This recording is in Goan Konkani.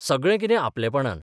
सगळें कितें आपलेपणान.